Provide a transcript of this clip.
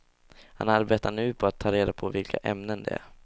Han arbetar nu på att ta reda på vilka ämnen det är.